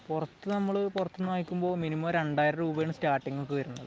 പുറത്തു, നമ്മൾ പുറത്തുനിന്ന് വാങ്ങിക്കുമ്പോൾ മിനിമം 2000 രൂപയാണ് സ്റ്റാർട്ടിങ് ഒക്കെ വരുന്നത്.